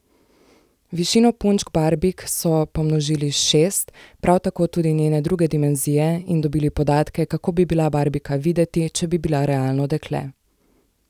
Višino punčk barbik so pomnožili s šest, prav tako tudi njene druge dimenzije, in dobili podatke, kako bi bila barbika videti, če bi bila realno dekle.